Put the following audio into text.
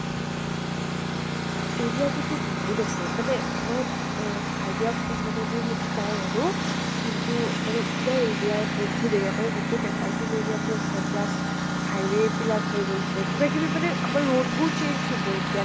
area কিন্তু বহুত আছে, মানে মই আহ idea কু মানে মোৰ সেইটো নাই আৰু। কিন্তু মানে পুৰা area বহুত area মানে গোটেই paper mill area টো আছে plus highway বিলাক হৈ গৈছে। কিবা কিবি মানে আমাৰ road বোৰ change হব এতিয়া